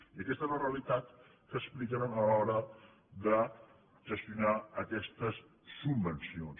i aquesta és la realitat que expliquen a l’hora de ges·tionar aquestes subvencions